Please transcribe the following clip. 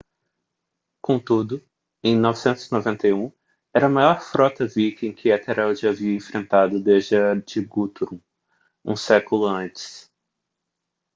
contudo em 991 era a maior frota viking com que ethelred havia enfrentado desde a de guthrum um século antes